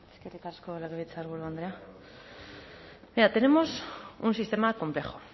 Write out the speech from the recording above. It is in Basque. eskerrik asko legebiltzarburu andrea mira tenemos un sistema complejo